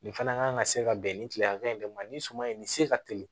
Nin fana kan ka se ka bɛn nin kile hakɛ in de ma nin suman in ni se ka teli